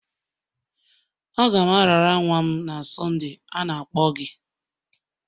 Aga m arara nwa m na Sonde, a na-akpọ gị.